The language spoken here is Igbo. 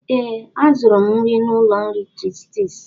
ee, azụrụ m nri n'ụlọ nri chitis